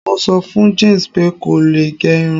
mo so fún James pe ko lo ge Irun